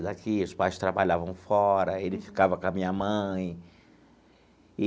Daqui os pais trabalhavam fora, ele ficava com a minha mãe.